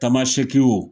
Tamasɛkiw